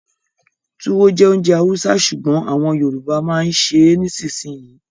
Túwó jẹ́ ounjẹ Hausa sùgbón àwọn Yorùbá ma ń ṣè é nisinyi